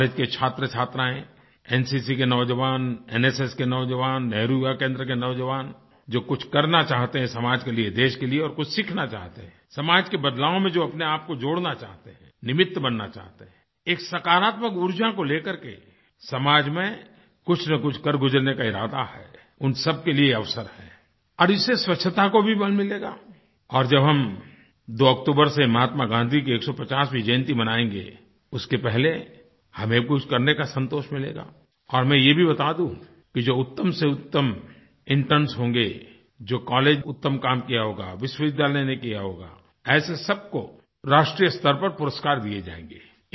college के छात्रछात्राएँ NCC के नौज़वान एनएसएस के नौज़वान नेहरु युवा केंद्र के नौज़वान जो कुछ करना चाहते हैं समाज के लिए देश के लिए और कुछ सीखना चाहते हैं समाज के बदलाव में जो अपने आप को जोड़ना चाहते हैं निमित्त बनना चाहते हैं एक सकारात्मक ऊर्जा को लेकर के समाज में कुछनकुछ कर गुज़रने का इरादा है उन सब के लिए अवसर है और इससे स्वच्छता को भी बल मिलेगा और जब हम 2 अक्तूबर से महात्मा गाँधी की 150वीं जयंती मनायेंगे उसके पहले हमें कुछ करने का संतोष मिलेगा और मैं ये भी बता दूँ कि जो उत्तमसेउत्तम इंटर्न्स होंगे जो कॉलेज में उत्तम काम किया होगा विश्वविद्यालय में किया होगा ऐसे सब को राष्ट्रीय स्तर पर पुरस्कार दिए जाएँगे